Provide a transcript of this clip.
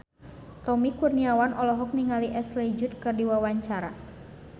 Tommy Kurniawan olohok ningali Ashley Judd keur diwawancara